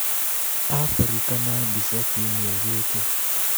Afrika na mbica Kiumia Gĩkĩ